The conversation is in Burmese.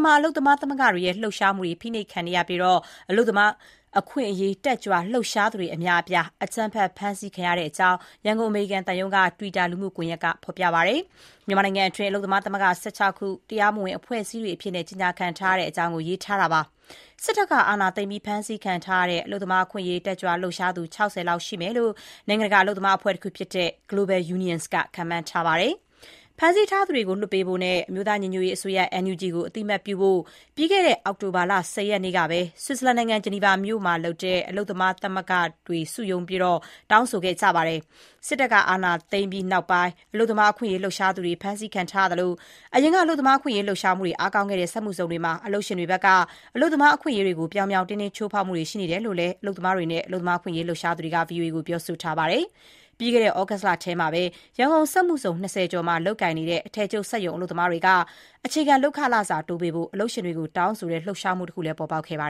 မှာ အလုပ်သမားသမဂ္ဂတွေရဲ့ လှုပ်ရှားမှုတွေ ဖိနှိပ်ခံနေရပြီး အလုပ်သမားရေး လှုပ်ရှားသူအများအပြား အကြမ်းဖက် ဖမ်းဆီးခံထားရတဲ့အကြောင်း ရန်ကုန်အမေရိကန်သံရုံးရဲ့ တွစ်တာလှုမှုကွန်ယက်မှာ ဖေါ်ပြပါတယ်။ မြန်မာနိုင်ငံအတွင်းမှာ အလုပ်သမားသမဂ္ဂ ၁၆ ခု တရားမဝင် ကြေညာခံထားတဲ့အကြောင်း ရေးသားထားပါတယ်။ စစ်တပ်က အာဏာသိမ်းပြီး ဖမ်းဆီးခံထားရတဲ့ အလုပ်သမားအခွင့်အရေး လှုပ်ရှားသူ ၆၀ လောက်ရှိမယ်လို့ နိုင်ငံတကာ အလုပ်သမားအဖွဲ့ Global Unions ခန့်မှန်းထားပါတယ်။ ဖမ်းဆီးထားသူတွေကိုလွှတ်ပေးဖို့နဲ့ အမျိုးသား ညီညွတ်ရေးအစိုးရ NUG ကို အသိအမှတ်ပြုဖို့ ပြီးခဲ့တဲ့ အောက်တိုဘာလ ၁၀ ရက်နေ့က ဂျနီဗာမှာ အလုပ်သမားမသဂ္ဂတွေ စုရုံးတောင်းဆိုခဲ့ကြပါတယ်။ စစ်တပ်က အာဏာသိမ်းပြီးနောက်ပိုင်း အလုပ်သမားအခွင့်အရေး လှုပ်ရှားသူတွေ ဖမ်းဆီးခံထားရသလို အရင်က အလုပ်သမားအခွင့်အရေးလှုပ်ရှားမှုတွေ အားကောင်းခဲ့တဲ့ စက်မှုဇုံမှာ အလုပ်ရှင်တွေဘက်က အလုပ်သမားအခွင့်အရေးတွေကို ပြောင်ပြောင်တင်းတင်း ချိုးဖောက်မှုတွေရှိနေတယ်လို့လည်း အလုပ်သမား အခွင့်အရေး လှုပ်ရှားသူတွေက VOA ကို ပြောဆိုထားပါတယ်။ ပြီးခဲ့တဲ့ သြဂုတ်လအတွင်းကတော့ ရန်ကုန်စက်မှုဇုံ ၂၀ ကျော်မှာ လုပ်ကိုင်နေတဲ့ အထည်ချုပ် စက်ရုံအလုပ်သမားတွေက အခြေခံ လုပ်အားခတိုးပေးဖို့ အလုပ်ရှင်တွေကို တောင်းဆိုတဲ့ လှုပ်ရှားမှုတခု ပေါ်ပေါက်ခဲ့ပါ